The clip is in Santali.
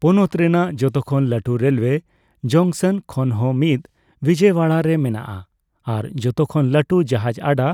ᱯᱚᱱᱚᱛ ᱨᱮᱱᱟᱜ ᱡᱚᱛᱚᱠᱷᱚᱱ ᱞᱟᱹᱴᱩ ᱨᱮᱞᱣᱮ ᱡᱚᱝᱥᱚᱱ ᱠᱷᱚᱱ ᱦᱚᱸ ᱢᱤᱫ ᱵᱤᱡᱚᱭᱣᱟᱲᱟ ᱨᱮ ᱢᱮᱱᱟᱜᱼᱟ, ᱟᱨ ᱡᱚᱛᱚ ᱠᱷᱚᱱ ᱞᱟᱹᱴᱩ ᱡᱟᱦᱟᱡᱽ ᱟᱰᱟ